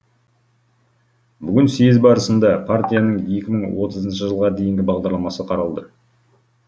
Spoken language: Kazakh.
бүгін съез барысында партияның екі мың отызыншы жылға дейінгі бағдарламасы қаралды